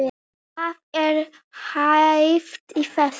Hvað er hæft í þessu?